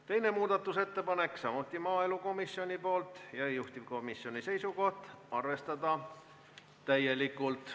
Teine muudatusettepanek on samuti maaelukomisjonilt, juhtivkomisjoni seisukoht: arvestada täielikult.